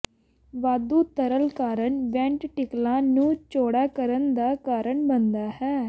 ਵਾਧੂ ਤਰਲ ਕਾਰਨ ਵੈਂਟਟੀਕਲਾਂ ਨੂੰ ਚੌੜਾ ਕਰਨ ਦਾ ਕਾਰਨ ਬਣਦਾ ਹੈ